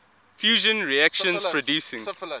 fusion reactions producing